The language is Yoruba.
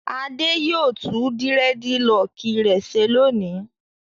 Adé yóò tún dírẹ́dilọọkì rẹ̀ ṣe lónìí.